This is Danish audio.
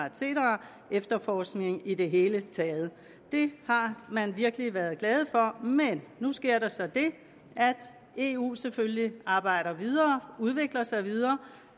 efterforskning i det hele taget det har man virkelig været glad for men nu sker der så det at eu selvfølgelig arbejder videre udvikler sig videre